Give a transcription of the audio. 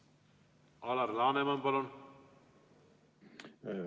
Alar Laneman, palun!